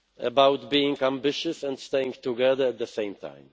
About being ambitious and staying together at the same time.